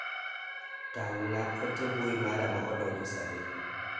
Tang' na ote mbui mara ma odonjo sani.